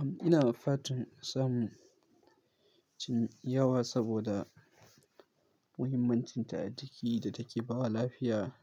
Am, ina ma fatan samun cin yawa saboda muhimmancinta a ciki da take ba da lafiya,